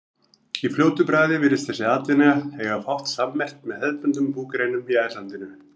Í fljótu bragði virðist þessi atvinna eiga fátt sammerkt með hefðbundnum búgreinum í ættlandinu.